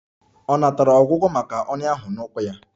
Ọ natara ọgwụgwọ maka ọnyá ahụ n'ụkwụ ya?